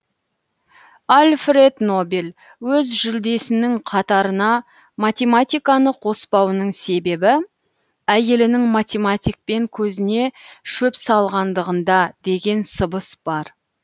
альфред нобель өз жүлдесінің қатарына математиканы қоспауының себебі әйелінің математикпен көзіне шөп салғандығында деген сыбыс бар